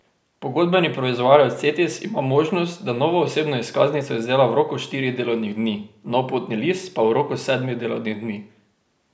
Pogodbeni proizvajalec Cetis ima možnost, da novo osebno izkaznico izdela v roku štirih delovnih dni, nov potni list pa v roku sedmih delovnih dni.